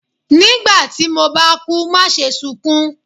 nígbà tí mo ba kú maṣe sunkún!